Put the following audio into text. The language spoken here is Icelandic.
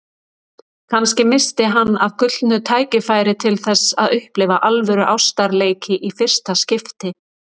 Kannski missti hann af gullnu tækifæri til þess að upplifa alvöru ástarleiki í fyrsta skipti.